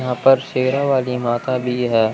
यहां पर शेरा वाली माता भी है।